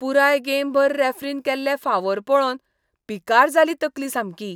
पुराय गेमभर रॅफ्रीन केल्ले फावोर पळोवन पिकार जाली तकली सामकी.